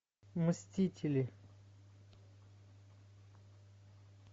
мстители